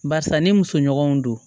Barisa ni musoɲɔgɔnw don